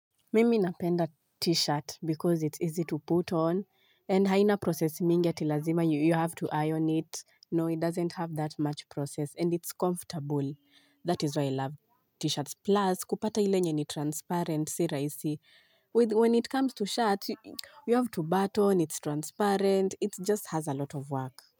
Mimi napenda t-shirt because it's easy to put on and haina process mingi ati lazima, you have to iron it. No, it doesn't have that much process and it's comfortable. That is why I love t-shirts. Plus, kupata ile enye ni transparent si rahisi. When it comes to shirts, you have to button, it's transparent. It just has a lot of work.